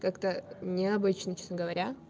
как-то необычно честно говоря